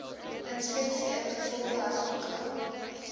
inspeksie ingevolge artikel